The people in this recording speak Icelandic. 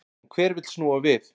En hver vill snúa við?